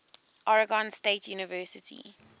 oregon state university